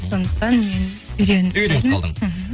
сондықтан мен үйреніп үйреніп қалдың мхм